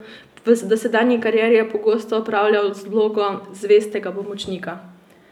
V dosedanji karieri je pogosto opravljal vlogo zvestega pomočnika.